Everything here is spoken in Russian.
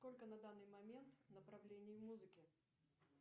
сколько на данный момент направлений в музыке